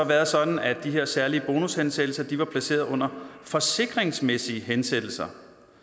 været sådan at de her særlige bonushensættelser var placeret under forsikringsmæssige hensættelser